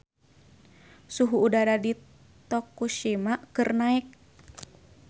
Suhu udara di Tokushima keur naek